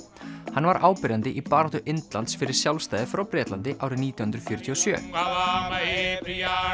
hann var áberandi í baráttu Indlands fyrir sjálfstæði frá Bretlandi árið nítján hundruð fjörutíu og sjö